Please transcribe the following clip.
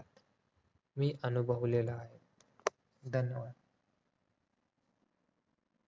मी अनुभवलेलं आहे धन्यवाद